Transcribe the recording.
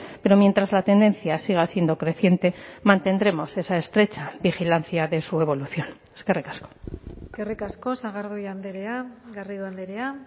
pero mientras la tendencia siga siendo creciente mantendremos esa estrecha vigilancia de su evaluación eskerrik asko eskerrik asko sagardui andrea garrido andrea